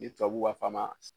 Ni tababu b'a fɔ a ma